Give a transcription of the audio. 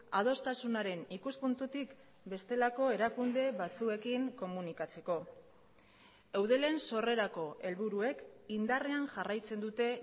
adostasunaren ikuspuntutik bestelako erakunde batzuekin komunikatzeko eudelen sorrerako helburuek indarrean jarraitzen dute